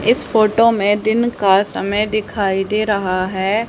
इस फोटो में दिन का समय दिखाई दे रहा है।